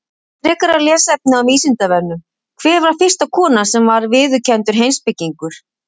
Frekara lesefni á Vísindavefnum: Hver var fyrsta konan sem var viðurkenndur heimspekingur?